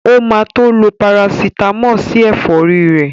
O ma tó lo Parasítámọ̀ sí ẹ̀fọ́rí ẹ̀